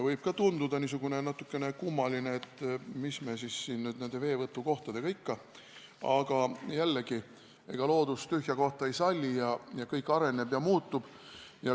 Võib tunduda natukene kummaline, et mis siis nüüd nende veevõtukohtadega on, aga jällegi: ega loodus tühja kohta ei salli, kõik areneb ja muutub.